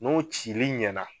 N'o cili ɲɛna